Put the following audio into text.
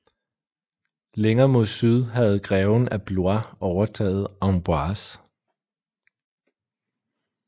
Længere mod syd havde greven af Blois overtaget Amboise